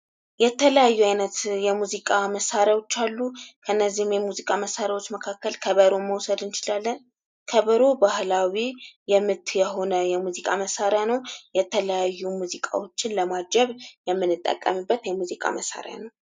የተለያዩ አይነት የሙዚቃ መሳሪያዎች አሉ ከነዚህም የሙዚቃ መሳሪያዎች መካከል ከበሮን መውሰድ እንችላለን። ከበሮ ባህላዊ ምት የሆነ የሙዚቃ መሳሪያ ነው የተለያዩ ሙዚቃዎችን ለማጀብ የምንጠቀምበት የሙዚቃ መሳሪያ ነው።